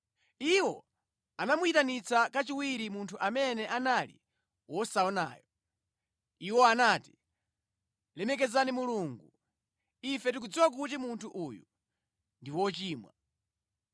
Iwo anamuyitanitsa kachiwiri munthu amene anali wosaonayo. Iwo anati, “Lemekeza Mulungu. Ife tikudziwa kuti munthu uyu ndi wochimwa.”